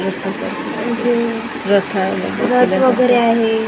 म्हणजे रथ वगेरे आहे.